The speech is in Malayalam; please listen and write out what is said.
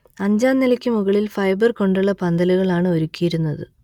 അഞ്ചാം നിലക്ക് മുകളിൽ ഫൈബർ കൊണ്ടുള്ള പന്തലുകളാണ് ഒരുക്കിയിരുന്നത്